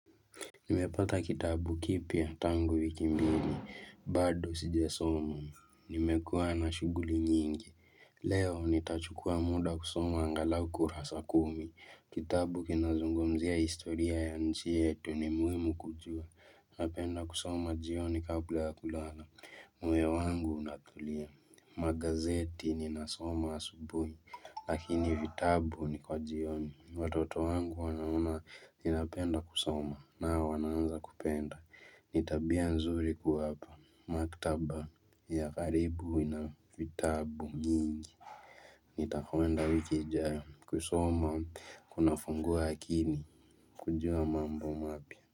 Nimepata kitabu kipya tangu wiki mbili, bado sijasoma, nimekuwa na shughuli nyingi, leo nitachukua muda kusoma angalau kurasa kumi, kitabu kinazungumzia historia ya nchi yetu ni muhimu kujua, napenda kusoma jioni kabla ya kulala, moyo wangu unatulia, magazeti ninasoma asubuhi, Lakini vitabu ni kwa jioni. Watoto wangu wanaona ninapenda kusoma nao wana anza kupenda. Ni tabia nzuri kuwapa. Maktaba ya karibu ina vitabu nyingi. Nitakowenda wiki ijayo kusoma kuna fungua akini. Kujua mambo mapya.